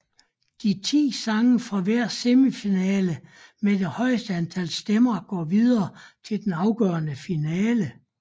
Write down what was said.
De ti sange fra hver semifinale med det højeste antal stemmer går videre til den afgørende finale